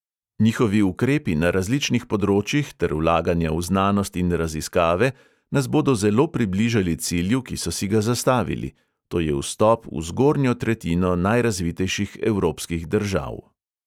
Njihovi ukrepi na različnih področjih ter vlaganja v znanost in raziskave nas bodo zelo približali cilju, ki so si ga zastavili: to je vstop v zgornjo tretjino najrazvitejših evropskih držav.